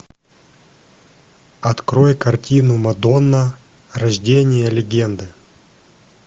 открой картину мадонна рождение легенды